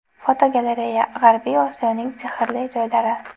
Fotogalereya: G‘arbiy Osiyoning sehrli joylari.